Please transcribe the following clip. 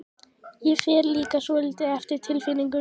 Ég fer líka svolítið eftir tilfinningunni.